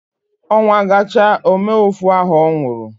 Onwa ga cha ome ofu aho onwuru